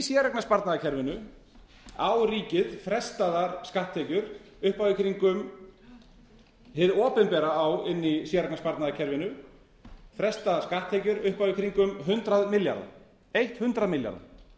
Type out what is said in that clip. á ríkið frestaðar skatttekjur upp á í kringum hið opinbera á inni í séreignarsparnaðarkerfinu frestaðar skatttekjur upp á kringum hundrað milljarða eitt hundrað milljarða